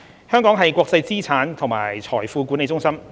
香港是國際資產及財富管理中心。